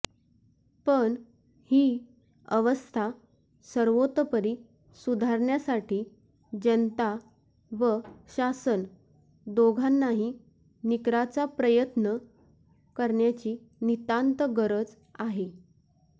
पण ही अवस्था सर्वतोपरी सुधारण्यासाठी जनता व शासन दोघांनाही निकराचा प्रयत्न करण्याची नितांत गरज आहे